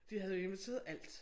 De havde jo inviteret alt